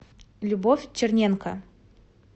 любовь черненко